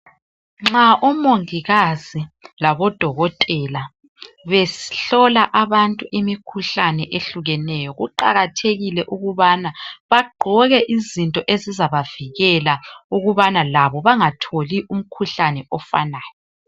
Nxa omongikazi labodokotela behlola imikhuhlane ehlukeneyo kuqakathekile ukubana bagqoke izinto ezizabavikela ukubana labo bangatholi umkhuhlane ofanayo.